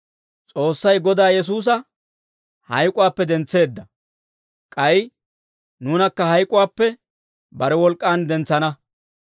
S'oossay Godaa Yesuusa hayk'uwaappe dentseedda; k'ay nuunakka hayk'uwaappe bare wolk'k'aan dentsana.